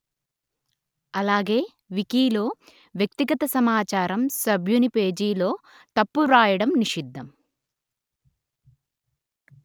అలాగే వికీలో వ్యక్తిగత సమాచారం సభ్యుని పేజీలో తప్పు వ్రాయడం నిషిద్ధం